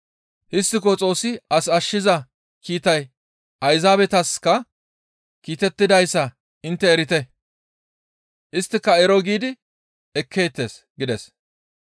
«Histtiko Xoossi as ashshiza kiitay Ayzaabetaska kiitettidayssa intte erite; isttika ero giidi ekkeettes» gides.